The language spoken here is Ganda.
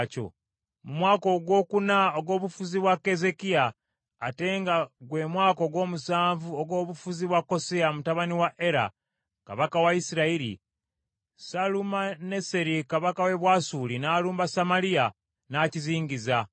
Mu mwaka ogwokuna ogw’obufuzi bwa Keezeekiya, ate nga gwe mwaka ogw’omusanvu ogw’obufuzi bwa Koseya mutabani wa Era, kabaka wa Isirayiri, Salumaneseri kabaka w’e Bwasuli n’alumba Samaliya n’akizingiza.